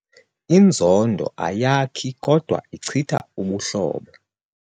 Inzondo ayakhi kodwa ichitha ubuhlobo.